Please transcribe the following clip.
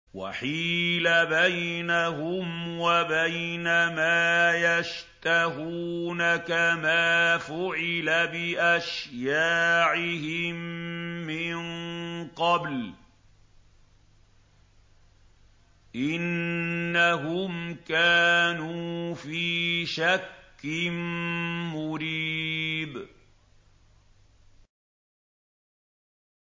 وَحِيلَ بَيْنَهُمْ وَبَيْنَ مَا يَشْتَهُونَ كَمَا فُعِلَ بِأَشْيَاعِهِم مِّن قَبْلُ ۚ إِنَّهُمْ كَانُوا فِي شَكٍّ مُّرِيبٍ